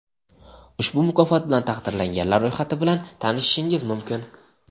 Ushbu mukofot bilan taqdirlanganlar ro‘yxati bilan tanishishingiz mumkin.